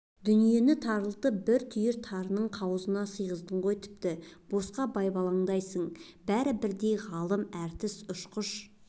дүниені тарылтып бір түйір тарының қауызына сиғыздың ғой тіпті босқа байбаламдайсың бәрі бірдей ғалым әртіс ұшқыш